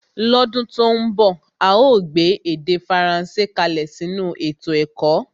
lọ́dún tó ń bọ̀ a óò gbé èdè Faransé kalẹ̀ sínú ètò ẹ̀kọ́